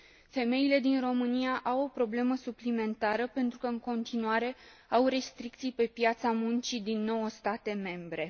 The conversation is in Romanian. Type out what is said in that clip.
Femeile din România au o problemă suplimentară, pentru că, în continuare, au restricții pe piața muncii din nouă state membre.